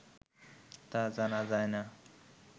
তা জানা যায় না